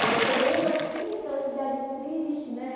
Aí eu chegando assim, aquela cidade triste, né?